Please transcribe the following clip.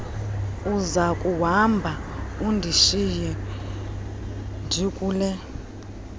uzakuhamba undishiye ndikule